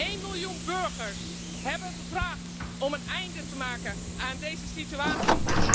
Één miljoen burgers hebben gevraagd om een einde te maken aan deze situatie.